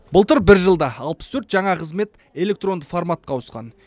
былтыр бір жылда алпыс төрт жаңа қызмет электронды форматқа ауысқан